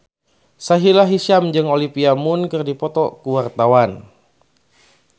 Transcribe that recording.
Sahila Hisyam jeung Olivia Munn keur dipoto ku wartawan